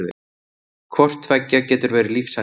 hvort tveggja getur verið lífshættulegt